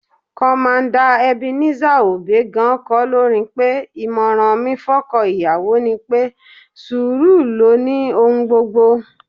Commander Ebenezer Obey gan-an kọ́ lórin pé: "ìmọ̀ràn mi fọ́kọ́ ìyàwó ni pé, sùúrù ló ni ohun gbogbo"